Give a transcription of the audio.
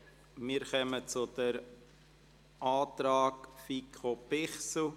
Wir kommen zur Planungserklärung FiKo/Bichsel.